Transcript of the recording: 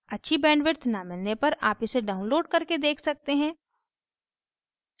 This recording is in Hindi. अच्छी bandwidth न मिलने पर आप इसे download करके देख सकते हैं